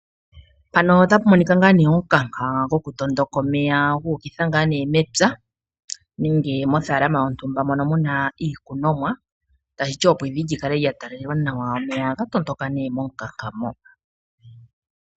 Omukanka gokutondoka omeya gu ukitha mepya nenge mothaalama yontumba mono mu na iikunomwa, opo evi li kale lya talalelwa nawa. Omeya ohaga tondoka nduno momukanka mo.